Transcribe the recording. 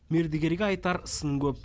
мердігерге айтар сын көп